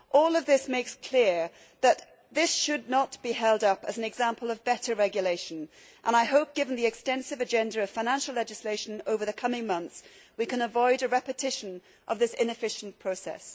It is clear that this should not be held up as an example of better regulation and, given the extensive agenda of financial legislation over the coming months, I hope we can avoid a repetition of this inefficient process.